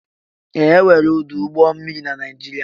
Ee! E nwere ọdụ ụgbọ mmiri na Naịjirịa.